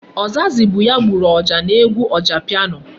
Ojazzy bụ ya gburu ọjà n'egwu Ojapiano.